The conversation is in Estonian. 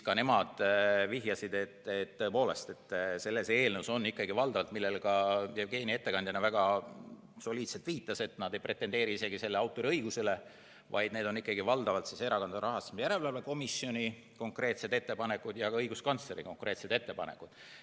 Ka nemad vihjasid, et tõepoolest – sellele ka Jevgeni ettekandjana väga soliidselt viitas –, nad ei pretendeeri autoriõigusele, vaid need on valdavalt Erakondade Rahastamise Järelevalve Komisjoni konkreetsed ettepanekud ja ka õiguskantsleri konkreetsed ettepanekud.